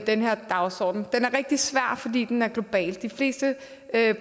den her dagsorden den er rigtig svær fordi den er global de fleste